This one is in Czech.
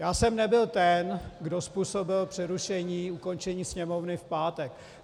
Já jsem nebyl ten, kdo způsobil přerušení, ukončení Sněmovny v pátek.